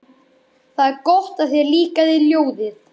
Það er gott að þér líkaði ljóðið.